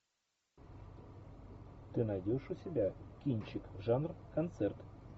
ты найдешь у себя кинчик жанр концерт